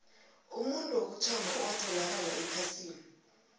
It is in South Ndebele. umuntu wokuthoma owatholakala ephasini